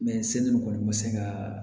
kɔni ma se ka